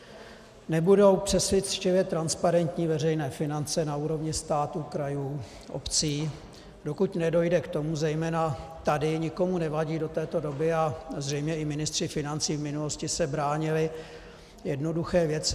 Nebudou přesvědčivě transparentní veřejné finance na úrovni státu, krajů, obcí, dokud nedojde k tomu, zejména tady nikomu nevadí do této doby, a zřejmě i ministři financí v minulosti se bránili jednoduché věci.